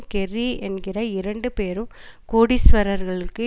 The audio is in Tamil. கெர்ரி என்கிற இரண்டு பெரும் கோடீஸ்வரர்களுக்கு